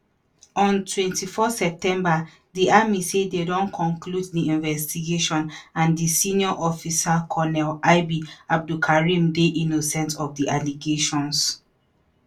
on 24 september di army say dem don conclude di investigation and di senior officer colonel ib abdulkareem dey innocent of di allegations.